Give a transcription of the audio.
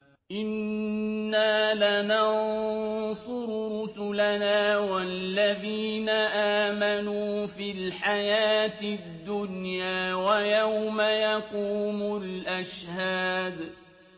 إِنَّا لَنَنصُرُ رُسُلَنَا وَالَّذِينَ آمَنُوا فِي الْحَيَاةِ الدُّنْيَا وَيَوْمَ يَقُومُ الْأَشْهَادُ